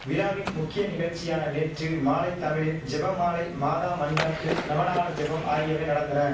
விழாவின் முக்கிய நிகழ்ச்சியான நேற்று மாலை தமிழில் ஜெபமாலை மாதா மன்றாட்டு நவநாள் ஜெபம் ஆகியவை நடந்தன